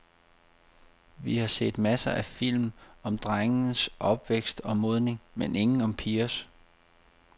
Vi har set masser af film om drenges opvækst og modning, men ingen om pigers.